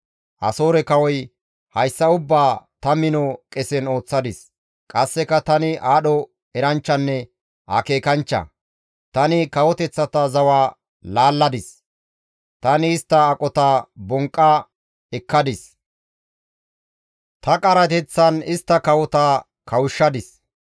Asoore kawoy, «Hayssa ubbaa tani mino qesen ooththadis; qasseka tani aadho eranchchanne akeekanchcha; tani kawoteththata zawa laalladis; tani istta aqota bonqqa ekkadis; ta qarateththan istta kawota kawushshadis.